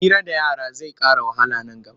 Hira da yara zai ƙara wahala a nan gaba.